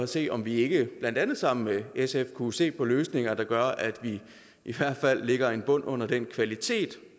se om vi ikke blandt andet sammen med sf kunne se på løsninger der gør at vi i hvert fald lægger en bund under den kvalitet